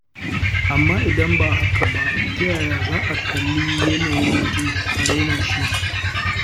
Amma idan ba haka ba, ta yaya za a kalli yanayin mutum a raina shi.